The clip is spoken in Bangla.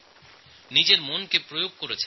এই ব্যাপারে মনোনিবেশ করেছেন